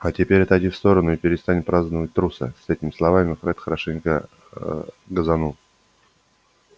а теперь отойди в сторону и перестань праздновать труса с этими словами фред хорошенько аа газанул